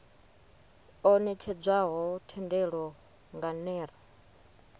o netshedzwaho thendelo nga ner